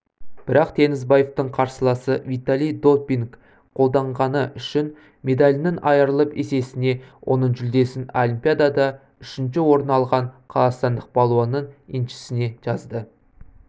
бірақ теңізбаевтың қарсыласы виталий допинг қолданғаны үшін медалінен айырылып есесіне оның жүлдесін олимпиадада үшінші орын алған қазақстандық балуанның еншісіне жазды